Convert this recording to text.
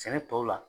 Sɛnɛ tɔw la